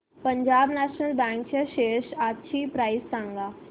Punjab national bank च्या shares आजची price सांगा